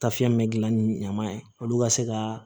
Tafiyɛn min bɛ gilan ni ɲama ye olu ka se ka